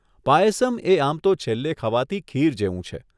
પાયસમ એ આમ તો છેલ્લે ખવાતી ખીર જેવું છે.